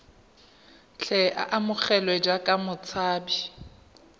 tle a amogelwe jaaka motshabi